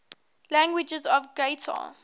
languages of qatar